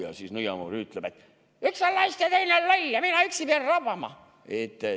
Ja nõiamoor ütleb: "Üks on laisk ja teine on loll ja mina pean üksipäini rabama.